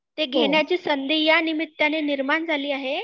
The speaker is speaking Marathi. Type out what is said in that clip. ते घेन्याची संधी, या निमित्ताने निर्माण झाली आहे